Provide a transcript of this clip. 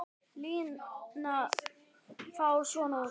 Línan lítur þá svona út